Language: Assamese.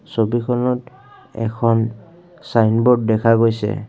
ছবিখনত এখন ছাইনব'ৰ্ড দেখা গৈছে।